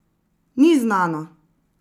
Ni znano!